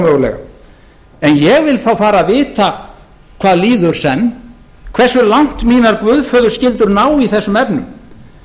ómögulega en ég vil þá fara að vita hvað líður senn hversu langt mínar guðföðurskyldur ná í þessum efnum